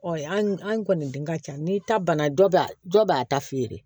an kɔni dun ka ca n'i ta banna dɔ b'a dɔ b'a ta feere